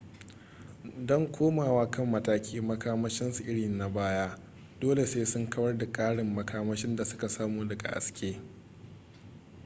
don komowa kan matakin makamashinsu irin na baya dole sai sun kawar da ƙarin makamashin da suka samu daga haske